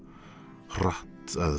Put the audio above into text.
hratt að